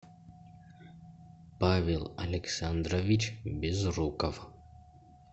павел александрович безруков